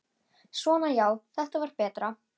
Svona já, þetta var betra.